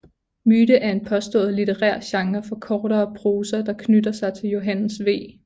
Myte er en påstået litterær genre for kortere prosa der knytter sig til Johannes V